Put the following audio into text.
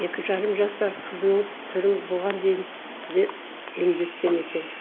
екі жарым жасар қызының түрін бұған дейін де емдеткен екен